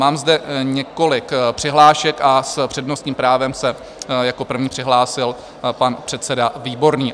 Mám zde několik přihlášek a s přednostním právem se jako první přihlásil pan předseda Výborný.